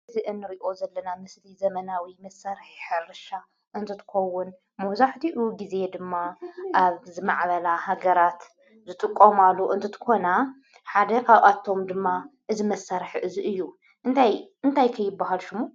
እዚ ንርኦ ዘለና ምስሊ ዘመናዊ መስርሕ ሕርሻ እንትትከውን መብዛሕትኡ ግዚ ድማ ኣብ ዝማዕበላ ሃገራት ዝጥቀማሉ እንትትኮና ሓደ ካብአቶም ድማ እዚ መሳርሒ እዚ እዩ? እንታይ እንትይ ከ ይብሃል ሽሙ?